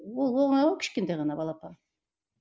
ол оңай ғой кішкентай ғана балапан